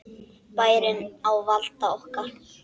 Bærinn á valdi okkar!